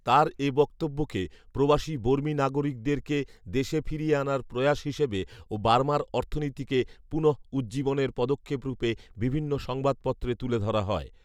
তার এ বক্তব্যকে প্রবাসী বর্মী নাগরিকদেরকে দেশে ফিরিয়ে আনার প্রয়াস হিসেবে ও বার্মার অর্থনীতিকে পুণঃউজ্জীবনের পদক্ষেপ রূপে বিভিন্ন সংবাদপত্রে তুলে ধরা হয়